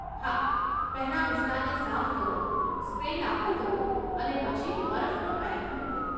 હા, પહેલા વિસ્તારને સાફ કરો, સ્પ્રે લાગુ કરો અને પછી બરફનો પેક મૂકો.